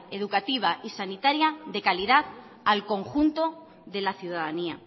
educativa y sanitaria de calidad al conjunto de la ciudadanía